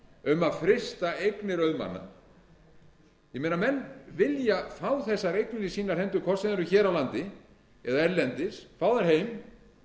um að frysta eignir auðmanna ég meina menn vilja fá þessar eignir í sínar hendur hvort sem þær eru hér á landi eða erlendis fá þær heim